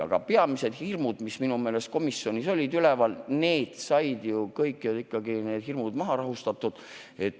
Aga peamised hirmud, mis minu meelest komisjonis üleval olid, said ju kõik ikkagi maha rahustatud.